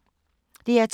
DR2